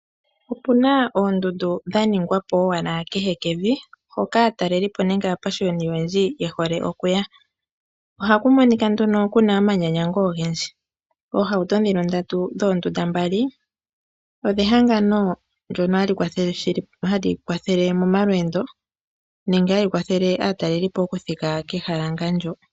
Opu na oondundu dha ningwapo owala kehekevi hoka aatalelipo nenge aapashiyoni ye hole okuya oha ku monika ku na omanyanyango ogendji. Oohauto ndhino ndatu dhoondunda mbali odhehangano ndyoka hali kwathele momalweendo nenge hadhi kwathele aatalelipo okuthika kehala ngaashi ndyoka.